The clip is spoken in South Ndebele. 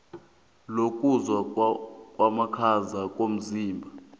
lokuzwa amakhaza komzimba